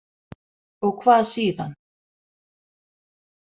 Og hvað síðan?